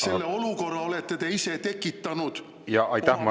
Selle olukorra olete te ise tekitanud oma valede otsustega!